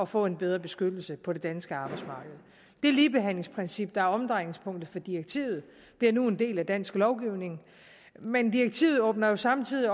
få en bedre beskyttelse på det danske arbejdsmarked det ligebehandlingsprincip der er omdrejningspunktet for direktivet bliver nu en del af dansk lovgivning men direktivet åbner samtidig